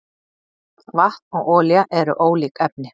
Vatn og olía eru ólík efni.